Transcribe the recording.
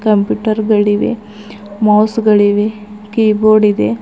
Computer ಗಳಿವೆ mouse ಗಳಿವೆ keyboard ಇದೆ.